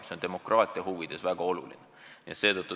See on demokraatia huvides väga oluline.